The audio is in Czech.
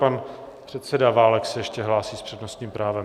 Pan předseda Válek se ještě hlásí s přednostním právem.